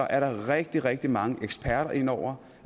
er der rigtig rigtig mange eksperter inde over